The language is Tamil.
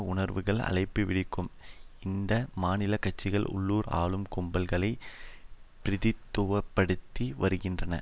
உணர்வுகள் அழைப்பு விடுக்கும் இந்த மாநில கட்சிகள் உள்ளூர் ஆளும் கும்பல்களை பிரதித்துவப்படுத்தி வருகின்றன